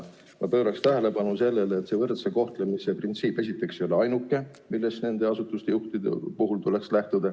Ma pööraksin tähelepanu sellele, et võrdse kohtlemise printsiip esiteks ei ole ainuke, millest nende asutuste juhtide puhul tuleks lähtuda.